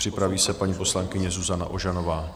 Připraví se paní poslankyně Zuzana Ožanová.